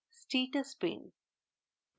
status pane